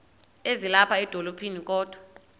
ezilapha edolophini kodwa